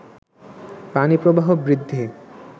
পানিপ্রবাহ বৃদ্ধি